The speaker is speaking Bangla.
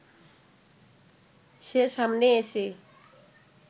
সে সামনে এসে